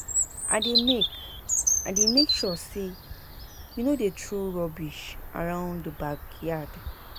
I dey make I dey make sure say we no dey throw rubbish around the backyard.